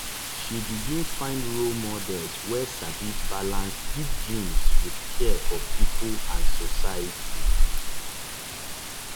she begin find role models wey sabi balance big dreams with care for people and society.